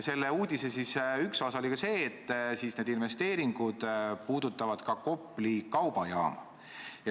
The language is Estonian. Selle uudise üks osi oli see, et need investeeringud puudutavad ka Kopli kaubajaama.